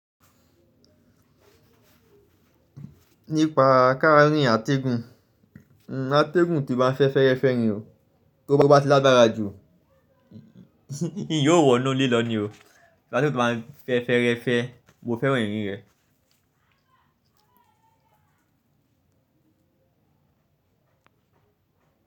Nípa káràǹnì àtẹ̀gùn, àtẹ̀gùn tí ó bá ń fẹ́ fẹ́refẹ́ ni o, to bá ti lágbára jù, n yóò wọnú ilé lọ ní o, ategun tí ó bá ń fẹ́ fẹ́refẹ́, mo fẹ́ran irin rẹ.